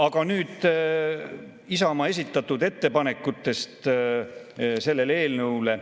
Aga nüüd Isamaa esitatud ettepanekutest selle eelnõu kohta.